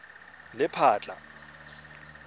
lephatla